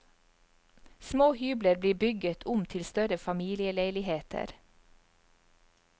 Små hybler blir bygget om til større familieleiligheter.